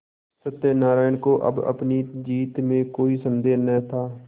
सत्यनाराण को अब अपनी जीत में कोई सन्देह न था